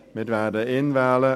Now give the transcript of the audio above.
Wir werden ihn wählen.